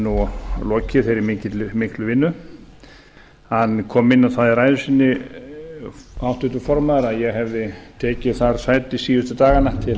nú lokið þeirri miklu vinnu hann kom inn á það í ræðu sinni háttvirtur formaður að ég hefði tekið þar sæti síðustu dagana